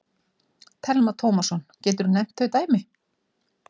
Telma Tómasson: Geturðu nefnt þau dæmi?